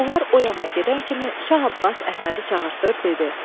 Bunlar o yana gedən kimi Şah Abbas Əhmədi çağırtdırıb dedi: